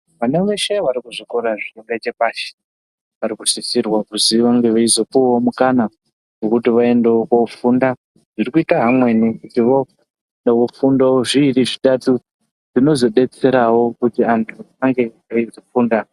Vana veshe varikuzvikora zviri ngechepashi varikusisirwa kuziva veizotopuwawo mukana wekuti vaendewo kofunda zviri kuitawo amweni kuti wofundewo zviviri zvitatu zvinozodetserawo kuti antu ange aizofunda.